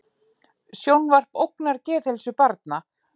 Sjónvarp ógnar geðheilsu barna